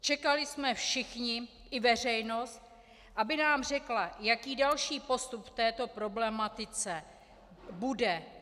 Čekali jsme všichni, i veřejnost, aby nám řekla, jaký další postup v této problematice bude.